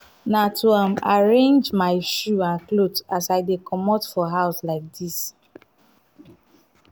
na to um arrangemy shoe and clothe as i dey comot for house like dis.